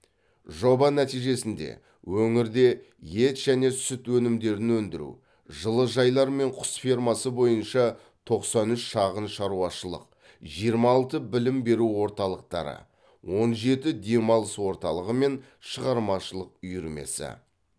жоба нәтижесінде өңірде ет және сүт өнімдерін өндіру жылыжайлар мен құс фермасы бойынша тоқсан үш шағын шаруашылық жиырма алты білім беру орталықтары он жеті демалыс орталығы мен шығармашылық үйірмесі